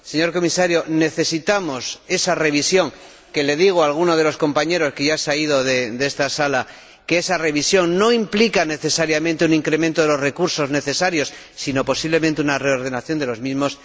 Señor Comisario, necesitamos esa revisión que como le digo a alguno de los compañeros que ya se ha ido de esta sala no implica necesariamente un incremento de los recursos necesarios, sino posiblemente una reordenación de los mismos.